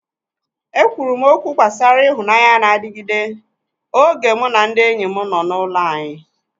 E kwuru m okwu gbasara ịhụnanya na-adịgide oge mụ na ndị enyi m nọ n'ụlọ anyị.